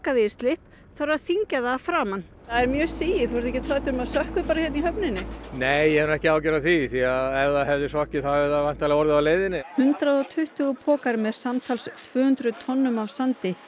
það í slipp þarf að þyngja það að framan það er mjög sigið þú ert ekkert hræddur um að það sökkvi bara hérna í höfninni nei ég hef nú ekki áhyggjur af því því ef það hefði sokkið þá hefði það væntanlega orðið á leiðinni hundrað og tuttugu pokar með samtals tvö hundruð tonnum af sandi